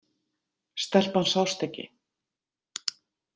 Stelpan sást ekki.